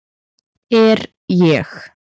Er ég